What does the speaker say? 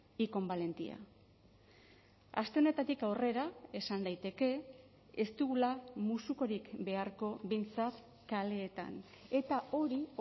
y con valentía aste honetatik aurrera esan daiteke ez dugula musukorik beharko behintzat kaleetan eta hori